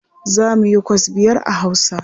Za mu yikwas biyar a Hausa.